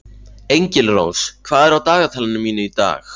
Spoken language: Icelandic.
Engilrós, hvað er á dagatalinu mínu í dag?